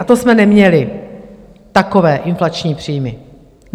A to jsme neměli takové inflační příjmy.